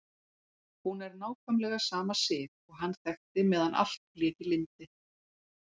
Hún er nákvæmlega sama Sif og hann þekkti meðan allt lék í lyndi.